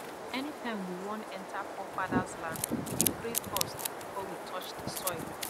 anytime we wan enter forefathers land we dey pray first before we touch the soil